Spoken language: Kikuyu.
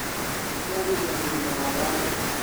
Na kwagĩria ũgima wao wa ngoro